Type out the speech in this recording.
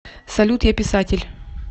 салют я писатель